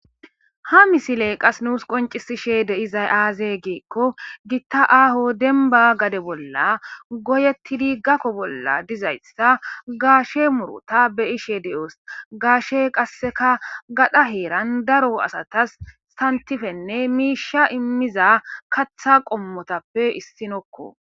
ha misiley qas nuus qoncisishe de'izay aaze giikko gitta aaho demba gade bolla goyetti di gakko bolla dizayssa gaashe murota be'ishe de7oos gaashe qasseka gadha heeran daro asatas santifenne miisha immiza katha qommotappe issinokko